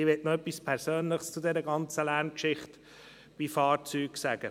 Ich möchte zu der ganzen Lärmgeschichte von Fahrzeugen noch etwas Persönliches sagen.